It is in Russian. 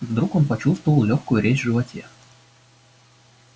и вдруг он почувствовал лёгкую резь в животе